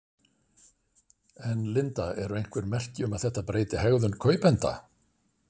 En Linda eru einhver merki um þetta breyti hegðun kaupenda?